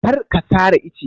Kar ka sare ice!